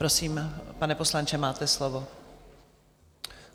Prosím, pane poslanče, máte slovo.